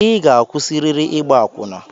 I ga-akwụsịrịrị ịgba akwụna!